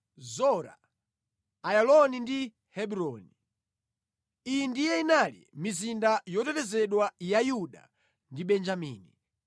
Zora, Ayaloni ndi Hebroni. Iyi ndiye inali mizinda yotetezedwa ya Yuda ndi Benjamini.